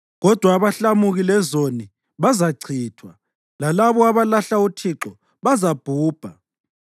Kodwa abahlamuki lezoni bazachithwa, lalabo abalahla uThixo bazabhubha.